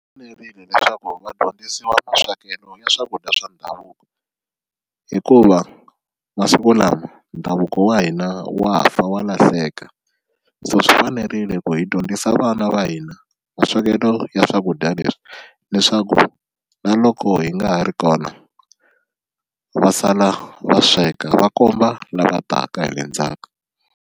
fanerile leswaku va dyondzisiwa maswekelo ya swakudya swa ndhavuko hikuva masiku lama ndhavuko wa hina wa fa wa lahleka, so swi fanerile ku hi dyondzisa vana va hina maswekelo ya swakudya leswi leswaku na loko hi nga ha ri kona va sala va sweka va komba lava taka hi le ndzhaku.